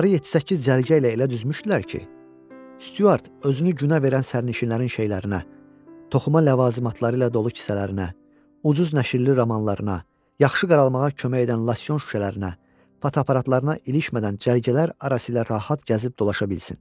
Onları 7-8 cərgə ilə elə düzmüşdülər ki, Stuart özünü günə verən sənişinlərin şeylərinə, toxuma ləvazimatları ilə dolu kisələrinə, ucuz nəşrli romanlarına, yaxşı qaralmağa kömək edən losyon şüşələrinə, fotoaparatlarına ilişmədən cərgələr arası ilə rahat gəzib dolaşa bilsin.